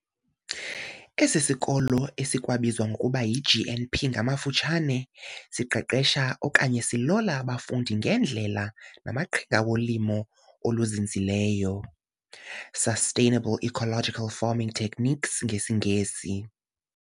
Esisikolo esikwabizwa ngokuba yiGNP ngamafutshane, siqeqesha okanye silola abafundi ngeendlela namaqhinga wolimo oluzinzileyo, sustainable ecological farming techniques ngesingesi.